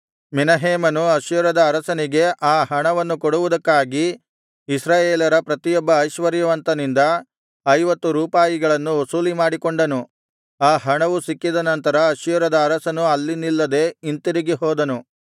ಮೆನಹೇಮನು ಅಶ್ಶೂರದ ಅರಸನಿಗೆ ಆ ಹಣವನ್ನು ಕೊಡುವುದಕ್ಕಾಗಿ ಇಸ್ರಾಯೇಲರ ಪ್ರತಿಯೊಬ್ಬ ಐಶ್ವರ್ಯವಂತನಿಂದ ಐವತ್ತು ರೂಪಾಯಿಗಳನ್ನು ವಸೂಲಿಮಾಡಿಕೊಂಡನು ಆ ಹಣವು ಸಿಕ್ಕಿದ ನಂತರ ಅಶ್ಶೂರದ ಅರಸನು ಅಲ್ಲಿ ನಿಲ್ಲದೆ ಹಿಂತಿರುಗಿ ಹೋದನು